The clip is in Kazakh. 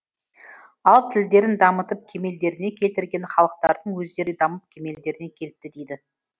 ал тілдерін дамытып кемелдеріне келтірген халықтардың өздері де дамып кемелдеріне келіпті дейді